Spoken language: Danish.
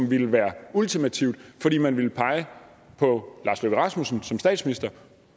ville være ultimativt fordi man ville pege på lars løkke rasmussen som statsminister